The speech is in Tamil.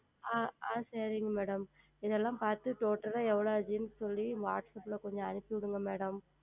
ஆஹ் சரிங்கள் Madam இது எல்லாம் பார்த்து Total ஆக எவ்வளவு ஆனது என்று சொல்லி Whatsapp ல் கொஞ்சம் அனுப்பிவிடுங்கள் Madam